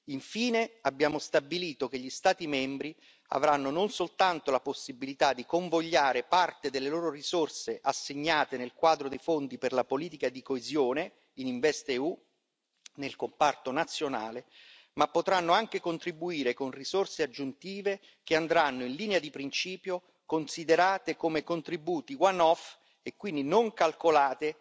Infine, abbiamo stabilito che gli Stati membri avranno non soltanto la possibilità di convogliare parte delle loro risorse assegnate nel quadro dei fondi per la politica di coesione in InvestEU nel comparto nazionale, ma potranno anche contribuire con risorse aggiuntive che andranno, in linea di principio, considerate come contributi one off e quindi non calcolate